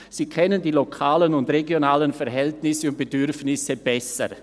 Sie kennen die lokalen bzw. regionalen Verhältnisse und Bedürfnisse besser.